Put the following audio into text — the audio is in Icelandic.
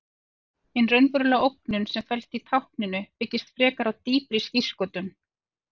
Hin raunverulega ógnun sem felst í tákninu byggist frekar á dýpri skírskotun.